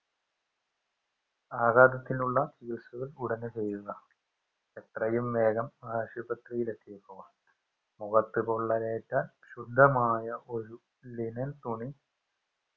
ആഗാതത്തിനുള്ള ചികിത്സകൾ ഉടനെ ചെയ്യുക എത്രയും വേഗം ആശുപത്രിയിൽ എത്തിക്കുക മുഖത്തു പൊള്ളലേറ്റ ശുദ്ധമായ ഒരു linen തുണി